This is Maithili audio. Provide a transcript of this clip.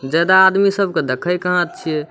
ज्यादा आदमी सब के देखे कहां छिये।